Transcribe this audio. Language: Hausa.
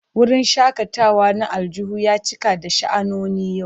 Wurin shakatawa na aljihun ya cika da sha'anoni yau.